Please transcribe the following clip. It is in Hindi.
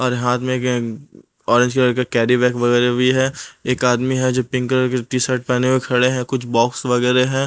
और हाथ में ऑरेंज कलर का कैरी बैग वगैरह भी है एक आदमी है जो पिंक कलर के टी शर्ट पहने हुए खड़े हैं कुछ बॉक्स वगैरह हैं।